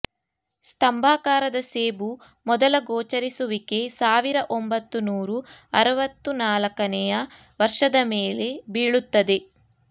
ಸ್ತಂಭಾಕಾರದ ಸೇಬು ಮೊದಲ ಗೋಚರಿಸುವಿಕೆ ಸಾವಿರ ಒಂಬತ್ತು ನೂರು ಅರವತ್ತು ನಾಲ್ಕನೇ ವರ್ಷದ ಮೇಲೆ ಬೀಳುತ್ತದೆ